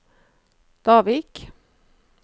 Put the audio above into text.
Davik